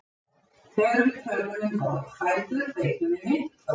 þegar við tölum um borðfætur beitum við myndhvörfum